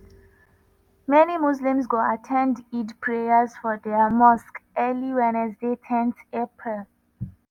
many muslims go at ten d eid prayers for dia mosque early wednesday ten april.